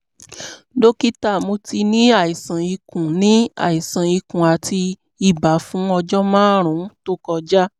dókítà mo ti ní àìsàn ikùn ní àìsàn ikùn àti ibà fún ọjọ́ márùn-ún tó kọjá